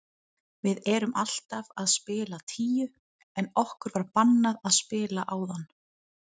Við erum alltaf að spila tíu en okkur var bannað að spila áðan.